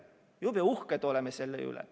Jube uhked oleme selle üle.